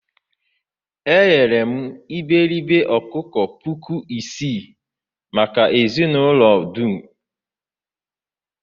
eghere m iberibe ọkụkọ puku isii maka ezinụlọ dum.